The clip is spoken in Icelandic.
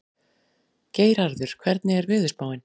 Geirarður, hvernig er veðurspáin?